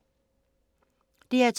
DR2